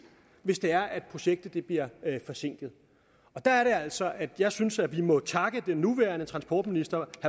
hvis det er at projektet bliver forsinket der er det altså at jeg synes at vi må takke den nuværende transportminister